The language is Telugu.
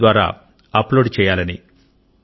App ద్వారా అప్లోడ్ చేయాలని